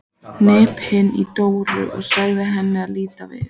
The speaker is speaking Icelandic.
Hnippti í Dóru og sagði henni að líta við.